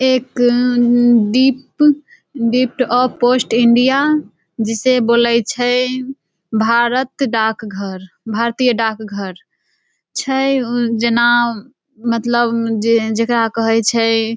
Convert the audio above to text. एक डिप dept of post India जिसे बोले छै भारत डाक घर भारतीय डाक घर छै उ जेना मतलब जे जकरा कहय छै।